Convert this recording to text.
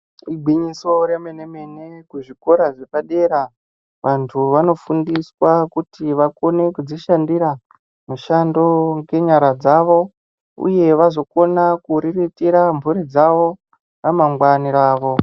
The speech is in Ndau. Igwinyiso remene mene kuzvikora zvepadera vantu vanofundiswa kuti vakone kudzishandira mishando ngenyara dzavo uye vazokona kuriritira mburi dzavo ramangwana ravo.